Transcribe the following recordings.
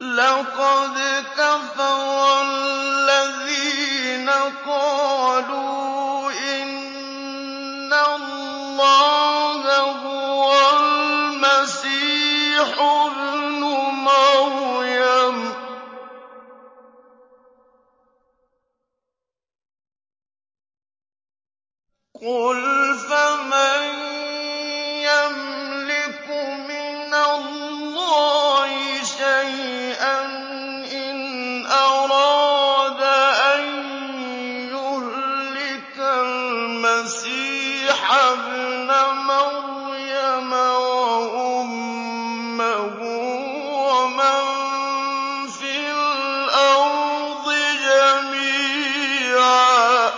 لَّقَدْ كَفَرَ الَّذِينَ قَالُوا إِنَّ اللَّهَ هُوَ الْمَسِيحُ ابْنُ مَرْيَمَ ۚ قُلْ فَمَن يَمْلِكُ مِنَ اللَّهِ شَيْئًا إِنْ أَرَادَ أَن يُهْلِكَ الْمَسِيحَ ابْنَ مَرْيَمَ وَأُمَّهُ وَمَن فِي الْأَرْضِ جَمِيعًا ۗ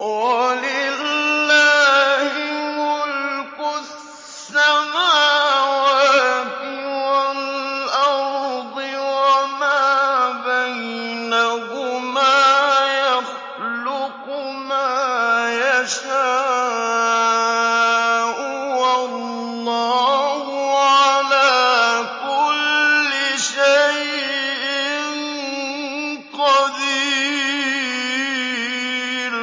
وَلِلَّهِ مُلْكُ السَّمَاوَاتِ وَالْأَرْضِ وَمَا بَيْنَهُمَا ۚ يَخْلُقُ مَا يَشَاءُ ۚ وَاللَّهُ عَلَىٰ كُلِّ شَيْءٍ قَدِيرٌ